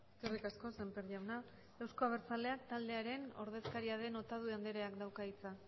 eskerrik asko semper jauna euzko abertzaleak taldearen ordezkaria den otadui andreak dauka hitza